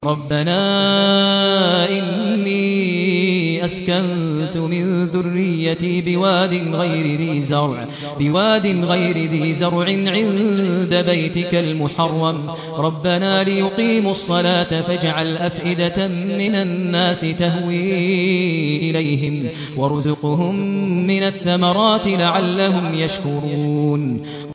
رَّبَّنَا إِنِّي أَسْكَنتُ مِن ذُرِّيَّتِي بِوَادٍ غَيْرِ ذِي زَرْعٍ عِندَ بَيْتِكَ الْمُحَرَّمِ رَبَّنَا لِيُقِيمُوا الصَّلَاةَ فَاجْعَلْ أَفْئِدَةً مِّنَ النَّاسِ تَهْوِي إِلَيْهِمْ وَارْزُقْهُم مِّنَ الثَّمَرَاتِ لَعَلَّهُمْ يَشْكُرُونَ